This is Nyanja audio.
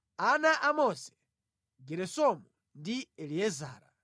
Ana a Mose: Geresomu ndi Eliezara.